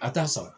A t'a sa